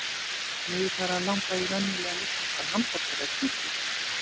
Mig er farið að langa í venjulegan íslenskan hamborgara eða kjúkling.